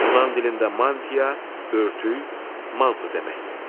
Yunan dilində mantia, örtük, manto deməkdir.